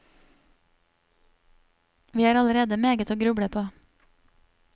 Vi har allerede meget å gruble på.